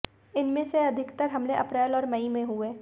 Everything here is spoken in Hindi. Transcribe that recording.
इनमें से अधिकतर हमले अप्रेल और मई में हुए